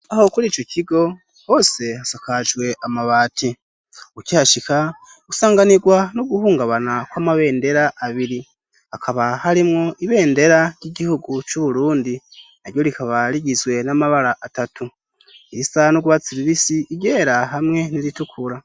Aho kuri ico kigo hose hasakajwe amabati ukihashika gusanganirwa no guhungabana kw'amabendera abiri, hakaba harimwo ibendera ry'igihugu c'Uburundi; naryo rikaba rigizwe n'amabara atatu : irisa n'urwatsi rubisi, iryera, hamwe n'iritukura.